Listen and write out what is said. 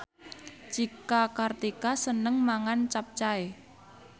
Cika Kartika seneng mangan capcay